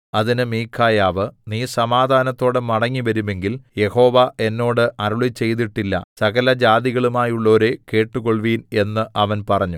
അതിന് മീഖായാവ് നീ സമാധാനത്തോടെ മടങ്ങിവരുമെങ്കിൽ യഹോവ എന്നോട് അരുളിച്ചെയ്തിട്ടില്ല സകല ജാതികളുമായുള്ളോരേ കേട്ടുകൊൾവിൻ എന്ന് അവൻ പറഞ്ഞു